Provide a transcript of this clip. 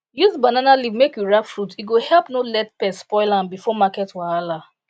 use banana leaf make we wrap fruit e go help no let pest spoil am before market wahala